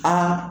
Aa